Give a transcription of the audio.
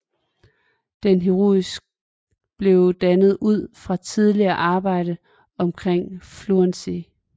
Denne heuristik blev dannet ud fra tidligere arbejde omkring fluency